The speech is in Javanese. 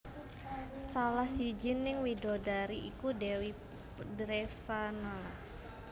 Salah sijining widodari iku Dèwi Dresanala